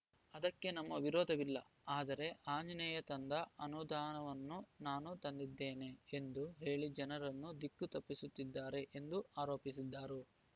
ಅದಕ್ಕೆ ನಮ್ಮ ವಿರೋಧವಿಲ್ಲ ಆದರೆ ಆಂಜನೇಯ ತಂದ ಅನುದಾನವನ್ನು ನಾನು ತಂದಿದ್ದೇನೆ ಎಂದು ಹೇಳಿ ಜನರನ್ನು ದಿಕ್ಕು ತಪ್ಪಿಸುತ್ತಿದ್ದಾರೆ ಎಂದು ಆರೋಪಿಸಿದರು